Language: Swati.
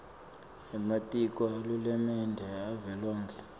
ematiko ahulumende avelonkhe